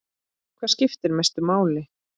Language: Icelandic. Hvað skiptir mestu máli?